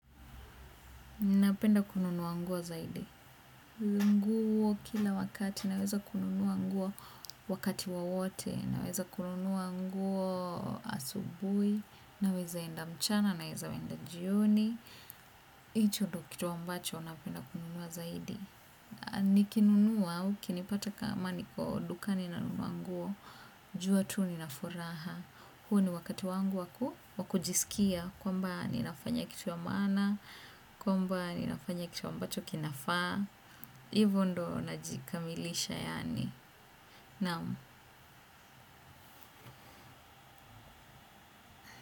Ninapenda kununua nguo zaidi. Lunguo kila wakati, naweza kununua nguo wakati wowote, naweza kununuwa nguo asubui, naweza enda mchana, naweza enda jioni. Hicho ndio kitu ambacho, napenda kununua zaidi. Nikinunua, au ukinipata kama niko dukani na nunua nguo, jua tu ninafuraha. Huo ni wakati wangu wa kujisikia kwamba ninafanya kitu ya maana, kwamba ninafanya kitu ambacho kinafaa, hivo ndio najikamilisha yaani. Naam.